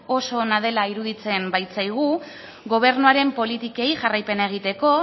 oso ona dela iruditzen baitzaigu gobernuaren politikei jarraipena egiteko